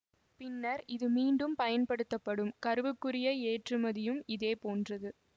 பின்னர் இது மீண்டும் பயன்படுத்தப்படும் கருவுக்குரிய ஏற்றுமதியும் இதே போன்றது